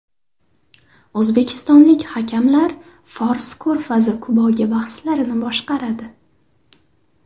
O‘zbekistonlik hakamlar Fors Ko‘rfazi Kubogi bahslarini boshqaradi.